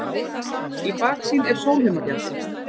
Í baksýn er Sólheimafjall.